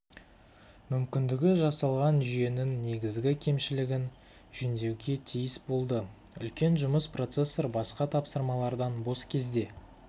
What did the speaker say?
мүмкіндігі жасалған жүйенің негізгі кемшілігін жөндеуге тиіс болды үлкен жұмыс процессор басқа тапсырмалардан бос кезде